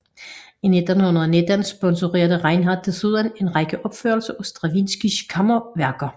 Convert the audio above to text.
I 1919 sponsorerede Reinhardt desuden en række opførelser af Stravinskijs kammerværker